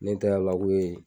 Ne ta ye ala ko ye.